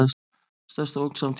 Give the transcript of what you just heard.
Stærsta ógn samtímans